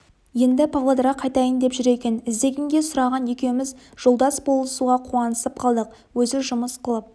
енді павлодарға қайтайын деп жүр екен іздегенге сұраған екеуіміз жолдас болуға қуанысып қалдық өзі жұмыс қылып